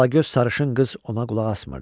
Alagöz sarışın qız ona qulaq asmırdı.